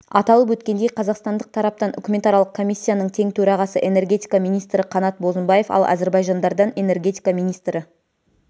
аталып өткендей қазақстандық тараптан үкіметаралық комиссияның тең төрағасы энергетика министрі қанат бозымбаев ал әзірбайжандардан энергетика министрі